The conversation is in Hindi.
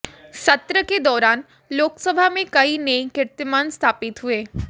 सत्र के दौरान लोकसभा में कई नए कीर्तिमान स्थापित हुए